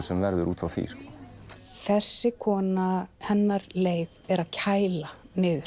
sem verður út frá því þessi kona hennar leið er að kæla